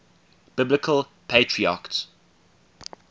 biblical patriarchs